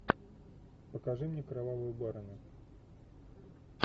покажи мне кровавую барыню